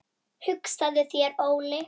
Hugsaðu þér Óli!